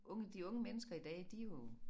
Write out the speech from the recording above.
Unge de unge mennesker i dag de jo